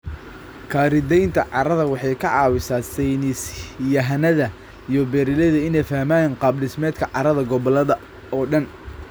Khariidaynta carrada waxay ka caawisaa saynis yahanada iyo beeralayda inay fahmaan qaab dhismeedka carrada gobolada oo dhan.